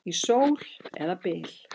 Í sól eða byl.